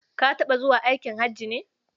Ka taɓa zuwa aikin haji ne?